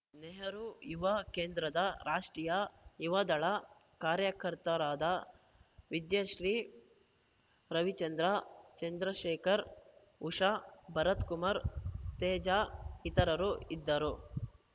ನೆಹರು ಯುವ ಕೇಂದ್ರದ ರಾಷ್ಟ್ರೀಯ ಯುವದಳ ಕಾರ್ಯಕರ್ತರಾದ ವಿದ್ಯಾಶ್ರೀ ರವಿಚಂದ್ರ ಚಂದ್ರಶೇಖರ್‌ ಉಷಾ ಭರತ್‌ ಕುಮಾರ್‌ ತೇಜ ಇತರು ಇದ್ದರು